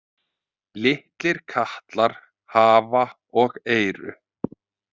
Litlir katlar hafa og eyru.